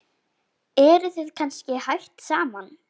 Eruð þið kannski hætt saman?